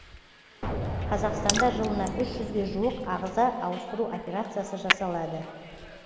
қазақстанда жылына үш жүзге жуық ағза ауыстыру операциясы жасалады